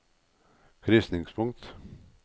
krysningspunkt